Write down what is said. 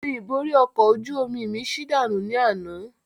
Ìrìn ìborí ọkọ̀ ojú omi mi ṣí dànù ni àná